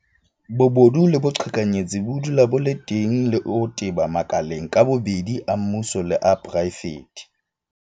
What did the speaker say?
Bobodu le boqhekanyetsi bo dula bo le teng le ho teba makaleng ka bobedi a mmuso le a poraefete.